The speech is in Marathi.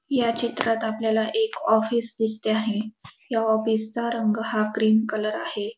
या चित्रात आपल्याला एक ऑफिस दिसते आहे या ऑफिसचा रंग हा क्रीम कलर आहे.